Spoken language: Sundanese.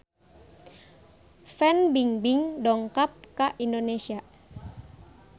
Fan Bingbing dongkap ka Indonesia